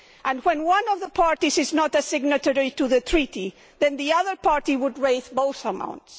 If one of the parties is not a signatory to the treaty, then the other party would have to raise both amounts.